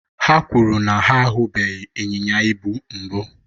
ha kwuru na ha ahụbeghị ịnyịnya ibu mbụ